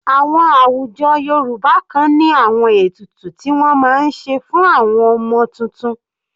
Àwọn àwùjọ Yorùbá kan ní àwọn ètùtù ti wọ́n máa ń ṣe fún àwọn ọmọ tuntun.